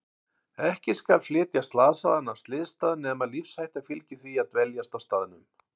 Ekki skal flytja slasaða af slysstað nema lífshætta fylgi því að dveljast á staðnum.